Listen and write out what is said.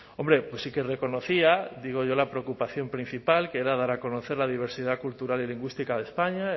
hombre pues sí que reconocía digo yo la preocupación principal que era dar a conocer la diversidad cultural y lingüística de españa